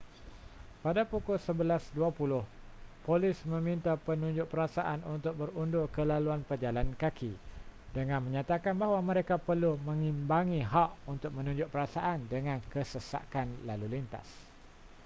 pada pukul 11:20 polis meminta penunjuk perasaan untuk berundur ke laluan pejalan kaki dengan menyatakan bahawa mereka perlu mengimbangi hak untuk menunjuk perasaan dengan kesesakan lalu lintas